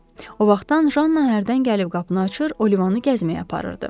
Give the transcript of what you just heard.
O vaxtdan Janna hərdən gəlib qapını açır, Olivanı gəzməyə aparırdı.